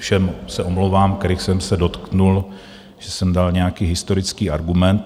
Všem se omlouvám, kterých jsem se dotkl, že jsem dal nějaký historický argument.